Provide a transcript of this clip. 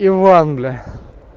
иван бля